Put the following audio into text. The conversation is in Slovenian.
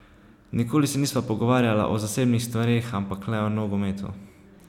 Nikoli se nisva pogovarjala o zasebnih stvareh, ampak le o nogometu.